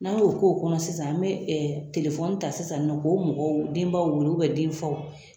N'a b'o k'o kɔnɔ sisan an bɛ telefɔni ta sisan nɔ k'o mɔgɔ denbaw denfaw